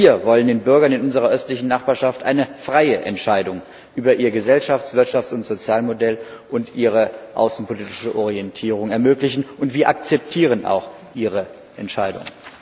Wir wollen den Bürgern in unserer östlichen Nachbarschaft eine freie Entscheidung über ihr Gesellschafts Wirtschafts und Sozialmodell und ihre außenpolitische Orientierung ermöglichen, und wir akzeptieren auch ihre Entscheidung.